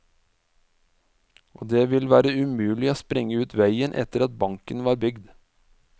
Og det ville være umulig å sprenge ut veien etter at banken var bygd.